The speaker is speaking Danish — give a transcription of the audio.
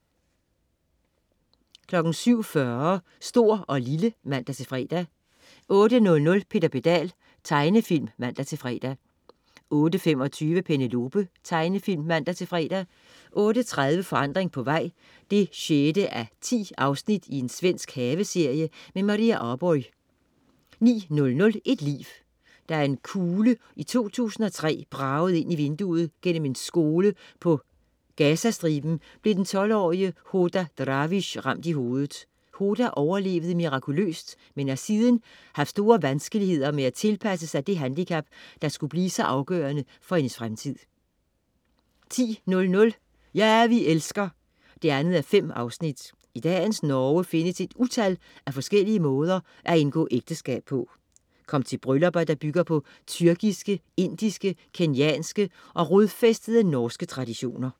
07.40 Stor & Lille (man-fre) 08.00 Peter Pedal. Tegnefilm (man-fre) 08.25 Penelope. Tegnefilm (man-fre) 08.30 Forandring på vej 6:10. Svensk haveserie. Maria Arborgh 09.00 Et liv. Da en kugle i 2003 bragede ind gennem vinduet i en skole på Gazastriben, blev den 12-årige Hoda Drawish ramt i hovedet. Hoda overlevede mirakuløst, men har siden haft store vanskeligheder med at tilpasse sig det handicap, der skulle blive så afgørende for hendes fremtid 10.00 Ja, vi elsker 2:5. I dagens Norge findes et utal af forskellige måder at indgå ægteskab på. Kom med til bryllupper, der bygger på tyrkiske, indiske, kenyanske og rodfæstede norske traditioner